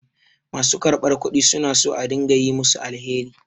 Ma su karɓar kudi su na son a dinga yi musu alheri.